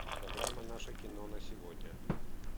программа наше кино на сегодня